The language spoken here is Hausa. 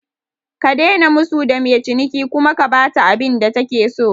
Ka daina musu da mai ciniki kuma ka bata abinda take so